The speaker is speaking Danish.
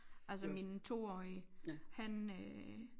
Altså min toårige